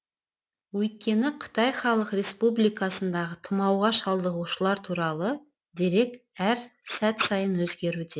өйткені қытай халық республикасындағы тұмауға шалдығушылар туралы дерек әр сәт сайын өзгеруде